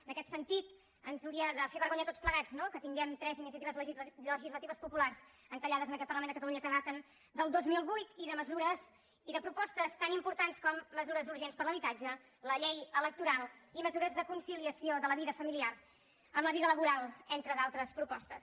en aquest sentit ens hauria de fer vergonya a tots plegats no que tinguem tres iniciatives legislatives populars encallades en aquest parlament de catalunya que daten del dos mil vuit i de propostes tan importants com mesures urgents per a l’habitatge la llei electoral i mesures de conciliació de la vida familiar amb la vida laboral entre d’altres propostes